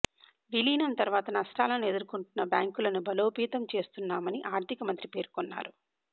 విలీనం ద్వారా నష్టాలను ఎదుర్కొంటున్న బ్యాంకులను బలోపేతం చేస్తున్నామని ఆర్థిక మంత్రి పేర్కొన్నారు